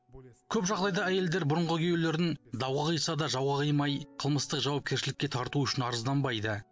көп жағдайда әйелдер бұрынғы күйеулерін дауға қиса да жауға қимай қылмыстық жауапкершілікке тарту үшін арызданбайды